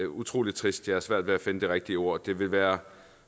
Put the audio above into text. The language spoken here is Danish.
utrolig trist jeg har svært ved at finde det rigtige ord det vil være